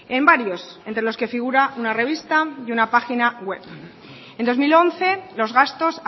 en varios entre los que figura una revista y una página web en dos mil once los gastos